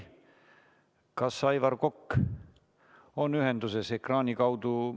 Kas Aivar Kokk on ühenduses ekraani kaudu?